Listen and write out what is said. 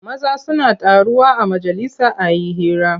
Maza suna taruwa a majalisa a yi hira.